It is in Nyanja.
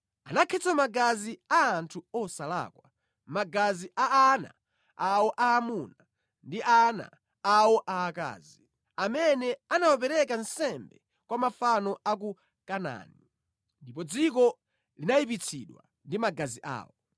Anakhetsa magazi a anthu osalakwa, magazi a ana awo aamuna ndi a ana awo aakazi, amene anawapereka nsembe kwa mafano a ku Kanaani, ndipo dziko linayipitsidwa ndi magazi awo.